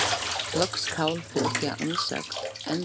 Loks skal fylgja umsögn endurskoðenda um skýrslu stjórnarinnar.